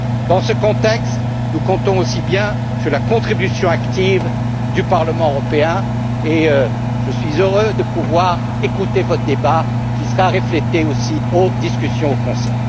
Dans ce contexte, nous comptons aussi sur la contribution active du Parlement européen et je suis heureux de pouvoir écouter votre débat qui sera répercuté dans les discussions au Conseil.